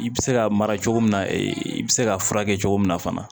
I bɛ se ka mara cogo min na i bɛ se ka furakɛ cogo min na fana